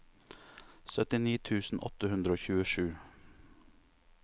syttini tusen åtte hundre og tjuesju